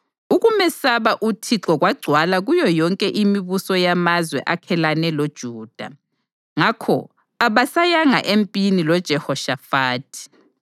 Ukumesaba uThixo kwagcwala kuyo yonke imibuso yamazwe akhelane loJuda, ngakho abasayanga empini loJehoshafathi.